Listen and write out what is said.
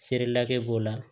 Seri lakɛ b'o la